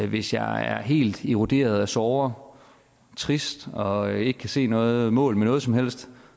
hvis jeg er helt eroderet af sorger trist og ikke kan se noget mål med noget som helst